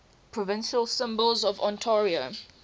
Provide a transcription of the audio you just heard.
provincial symbols of ontario